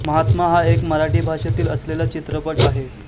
महात्मा हा एक मराठी भाषेतील असलेला चित्रपट आहे